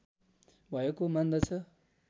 भएको मान्दछ